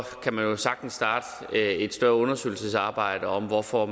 kan man jo sagtens starte et større undersøgelsesarbejde om hvorfor